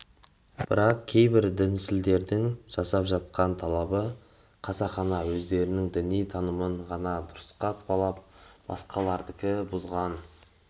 бірақ кейбір діншілдердің жасап жатқан талабы қасақана өздерінің діни танымын ғана дұрысқа балап басқалардікі бұзылған